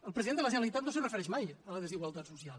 el president de la generalitat no s’hi refereix mai a la desigualtat social